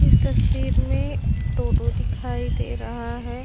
इस तस्वीर में टोटो दिखाई दे रहा हैं।